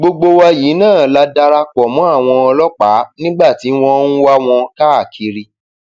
gbogbo wa yìí náà la dara pọ mọ àwọn ọlọpàá nígbà tí wọn ń wá wọn káàkiri